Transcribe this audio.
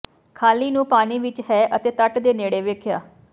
ਖ਼ਾਲੀ ਨੂੰ ਪਾਣੀ ਵਿੱਚ ਹੈ ਅਤੇ ਤੱਟ ਦੇ ਨੇੜੇ ਵੇਖਿਆ